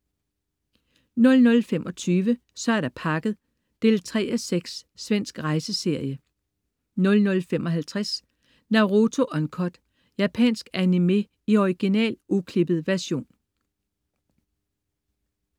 00.25 Så er der pakket 3:6. Svensk rejseserie 00.55 Naruto Uncut. Japansk animé i original, uklippet version